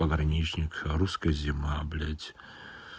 пограничник русская зима блядь